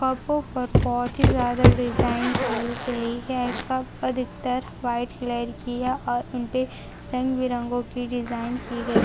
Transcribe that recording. कपो पर बहुत ही ज्यादा की गई है कप अधिकतर व्हाईट कलर की है और उनपे रंग -बिरंगो की डिजाइन की गई --